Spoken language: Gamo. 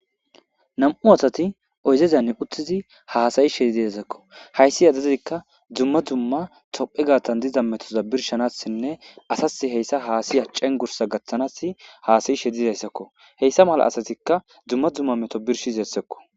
nam7u asati oyzezanne uttizi haasayi shedideesakko hayssi yadadikka dzumma dzumma tophe gaatan diza metoza birshanassinne asas heyssa haasiya cengursa gaththanas haasayi shedidayssakko heyssa mala asatikka dzumma dzumma meto birshizessekko